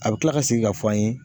A bɛ kila ka segin ka fɔ an ye